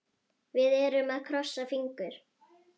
Við erum að krossa fingur.